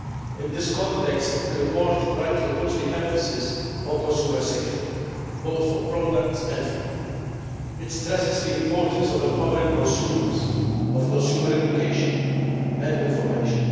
In this context, the report rightly puts the emphasis on consumer safety, both for products and food. It stresses the importance of empowering consumers, of consumer education and information.